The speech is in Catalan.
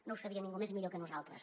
no ho sabia ningú millor que nosaltres